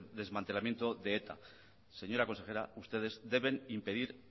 de desmantelamiento de eta señora consejera ustedes deben impedir